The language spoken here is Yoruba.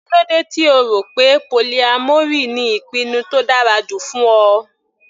Kílódé tí O rọ̀ pé polyamory ni ìpinnu tó dára jù fún Ọ.